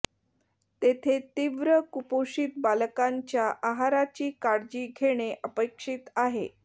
तेथे तीव्र कुपोषित बालकांच्या आहाराची काळजी घेणे अपेक्षित होते